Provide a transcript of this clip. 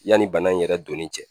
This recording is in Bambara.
Yanni bana in yɛrɛ donni cɛ